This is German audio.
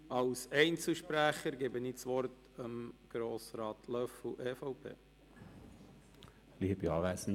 Als Einzelsprecher hat Grossrat Löffel das Wort.